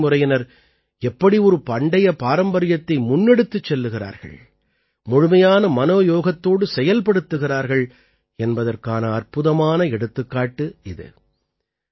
பல்வேறு தலைமுறையினர் எப்படி ஒரு பண்டைய பாரம்பரியத்தை முன்னெடுத்துச் செல்கிறார்கள் முழுமையான மனோயோகத்தோடு செயல்படுத்துகிறார்கள் என்பதற்கான அற்புதமான எடுத்துக்காட்டு இது